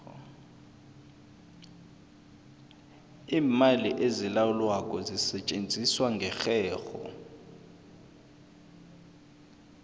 iimali ezilawulwako zisetjenziswa ngerherho